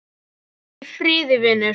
Farðu í friði, vinur.